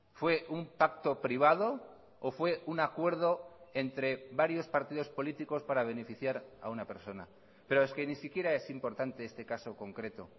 fue un pacto privado o fue un acuerdo entre varios partidos políticos para beneficiar a una persona pero es que ni siquiera es importante este caso concreto